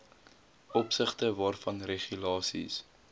opsigte waarvan regulasies